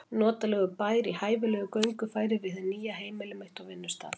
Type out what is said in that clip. Notalegur bær í hæfilegu göngufæri við hið nýja heimili mitt og vinnustað.